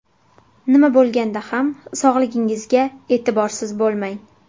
Nima bo‘lganda ham sog‘lig‘ingizga e’tiborsiz bo‘lmang.